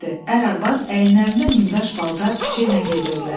Ər-arvad əyinlərində nimdaş paltar küçə ilə gedirdilər.